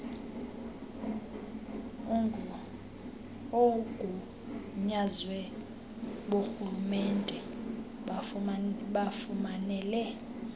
oogunyaziwe borhulumente bafumanele